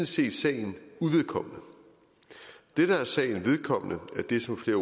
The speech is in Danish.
set sagen uvedkommende det der er sagen vedkommende er det som flere